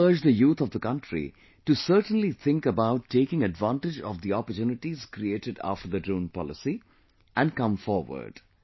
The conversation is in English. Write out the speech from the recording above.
I will also urge the youth of the country to certainly think about taking advantage of the opportunities created after the Drone Policy and come forward